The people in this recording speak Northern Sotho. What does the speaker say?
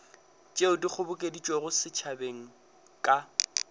tšeo di kgobokeditšwego setšhabeng ka